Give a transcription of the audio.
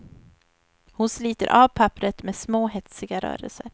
Hon sliter av papperet med små hetsiga rörelser.